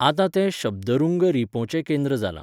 आतां तें शब्दरुंग रिंपोचे केंद्र जालां.